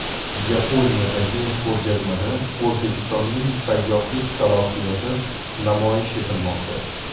Yaponiyadagi ko‘rgazmada O‘zbekistonning sayyohlik salohiyati namoyish etilmoqda.